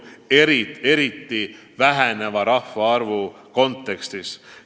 See polekski väheneva rahvaarvu tingimustes võimalik.